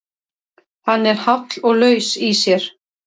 Hann er háll og laus í sér.